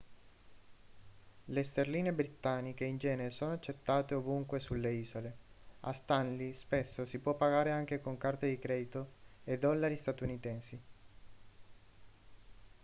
le sterline britanniche in genere sono accettate ovunque sulle isole a stanley spesso si può pagare anche con carte di credito e dollari statunitensi